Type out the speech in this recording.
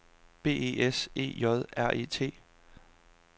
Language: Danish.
B E S E J R E T